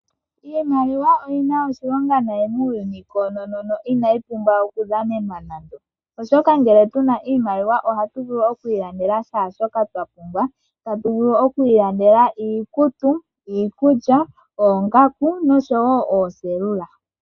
Iimaliwa oyina oshilonga nayi muuyuni koonono no inayi pumbwa oku dhanenwa nande. Oshoka ngele tuna oshimaliwa ohatu vulu oku ilandela shaashoka twa pumbwa. Tatu vulu oku ilandela iikutu, oongaku nosho woo ooselula.